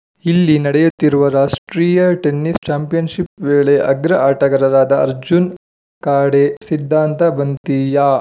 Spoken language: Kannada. ಇಲ್ಲಿ ನಡೆಯುತ್ತಿರುವ ರಾಷ್ಟ್ರೀಯ ಟೆನ್ನಿಸ್‌ ಚಾಂಪಿಯನ್‌ಶಿಪ್‌ ವೇಳೆ ಅಗ್ರ ಆಟಗಾರರಾದ ಅರ್ಜುನ್‌ ಖಾಡೆ ಸಿದ್ಧಾಂತ ಬಂತಿಯಾ